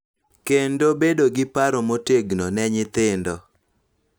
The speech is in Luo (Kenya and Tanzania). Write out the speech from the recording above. Kendo bedo gi paro motegno ne nyithindo,